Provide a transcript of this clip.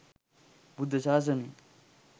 බුද්ධ ශාසනය